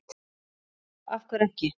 já af hverju ekki